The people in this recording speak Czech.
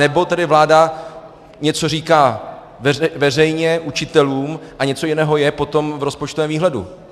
Anebo tedy vláda něco říká veřejně učitelům a něco jiného je potom v rozpočtovém výhledu.